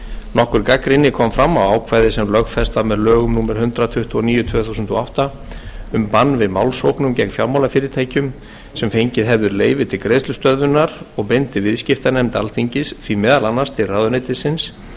nokkur gagnrýni kom fram á ákvæði sem lögfest var með lögum númer hundrað tuttugu og níu tvö þúsund og átta um bann við málssóknum gegn fjármálafyrirtækjum sem fengið hefðu leyfi til greiðslustöðvunar og beindi viðskiptanefnd alþingis því meðal annars til ráðuneytisins